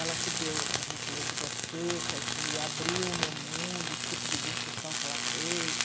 Ela que deu para a gente ler Vidas Secas e abriu o meu mundo, o tipo de discussão que ela fez.